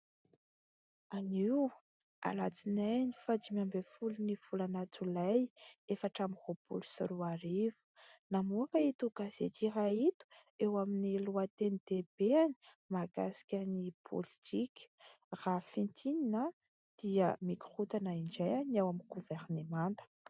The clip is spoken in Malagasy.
Anio alatsinainy faha dimy ambiny folo ny volana jolay efatra ambiny roapolo sy roa arivo, namoaka ito gazety iray ito, eo amin'ny lohatenidehibeany mahakasika ny politika ; raha fintinina dia mikorotana indray ny ao amin'ny governemanta